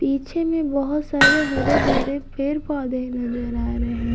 पीछे में बहुत सारे हरे भरे पेड़ पौधे नजर आ रहे हैं।